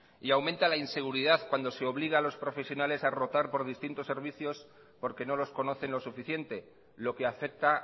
y aumenta la inseguridad cuando se obliga a los profesionales a rotar por distintos servicios porque no los conocen lo suficiente lo que afecta